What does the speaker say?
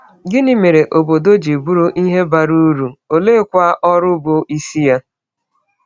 Gịnị mere obodo ji bụrụ ihe bara uru, oleekwa ọrụ bụ isi ya?